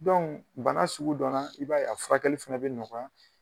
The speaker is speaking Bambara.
bana sugu dɔ na, i b'a ye furakɛli fɛnɛ be nɔkɔya.